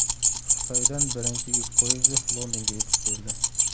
Xitoydan birinchi yuk poyezdi Londonga yetib keldi .